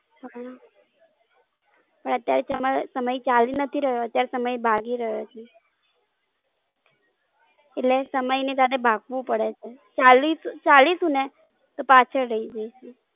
હાલો, અત્યારે સમય ચાલી નથી રહ્યો અત્યારે સમય ભાગી રહ્યો છે, એટલે સમય ની સાથે ભાગવું પડે છે. ચાલી ચાલીશુ ને તો પાછળ રૈઇ જઈસુ.